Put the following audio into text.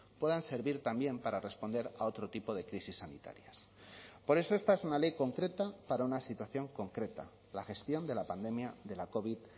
puedan servir también para responder a otro tipo de crisis sanitarias por eso esta es una ley concreta para una situación concreta la gestión de la pandemia de la covid